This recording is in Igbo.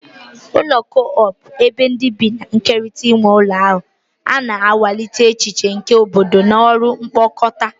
Ụlọ co-op, ebe ndị bi na-ekerịta nwe ụlọ ahụ, na-akwalite echiche nke obodo na ọrụ mkpokọta.